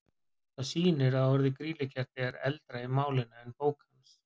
Það sýnir að orðið grýlukerti er eldra í málinu en í bók hans.